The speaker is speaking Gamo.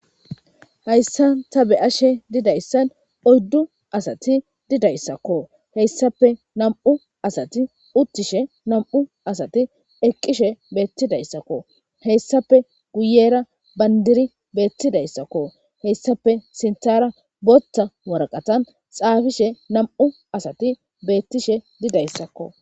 hayssa ta be7ashe didayssan oyddu asati didayssakko heyssape nam7u asati uttishe nam7u asati eqqishe beettidayssakko heyssape guyera bandiri beettidayssakko heyssape sinthara botta warqatan xaafishe nam7u asati beettishe didayssakko